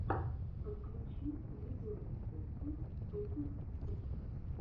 ищи подкасты на ютюбе